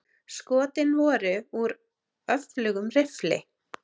Skotin voru úr öflugum riffli.